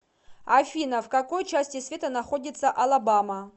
афина в какой части света находится алабама